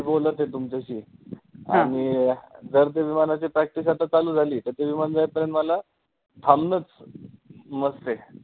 मी बोलत आहे तुमच्याशी आणि जर त्या विमानाची practice आता चालू झाली तर ते विमान जाताना मला मग मला थांबनचं must आहे.